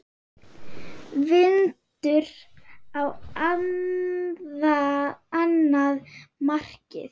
Vindur á annað markið.